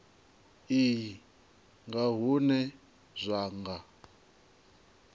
iyi nga hune zwa nga